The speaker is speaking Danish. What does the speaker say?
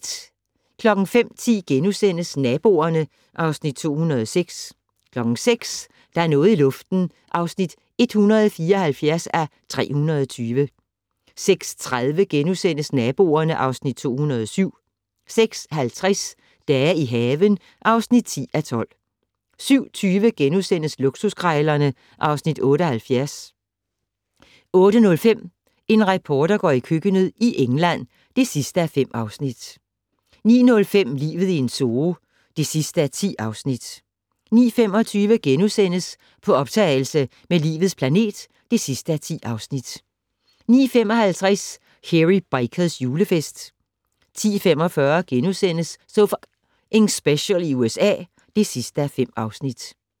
05:10: Naboerne (Afs. 206)* 06:00: Der er noget i luften (174:320) 06:30: Naboerne (Afs. 207)* 06:50: Dage i haven (10:12) 07:20: Luksuskrejlerne (Afs. 78)* 08:05: En reporter går i køkkenet - i England (5:5) 09:05: Livet i en zoo (10:10) 09:25: På optagelse med "Livets planet" (10:10) 09:55: Hairy Bikers julefest 10:45: So F***ing Special i USA (5:5)*